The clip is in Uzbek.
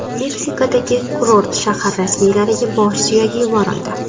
Meksikadagi kurort shahar rasmiylariga bosh suyagi yuborildi.